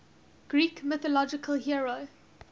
greek mythological hero